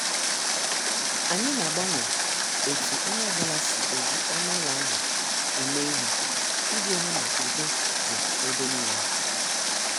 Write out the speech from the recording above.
Anyị na- agbanwe etu onye ọ bụla si eji ọnụ ụlọ ahụ eme ihe iji hụ na udo dị ebe nile.